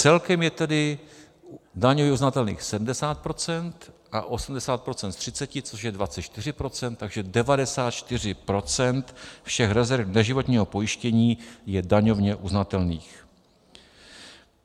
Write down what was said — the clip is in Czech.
Celkem je tedy daňově uznatelných 70 % a 80 % z 30, což je 24 %, takže 94 % všech rezerv neživotního pojištění je daňově uznatelných.